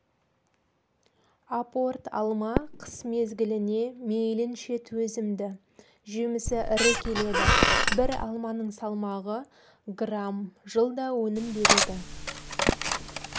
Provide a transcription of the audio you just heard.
апорт алма қыс мезгіліне мейлінше төзімді жемісі ірі келеді бір алманың салмағы грамм жылда өнім береді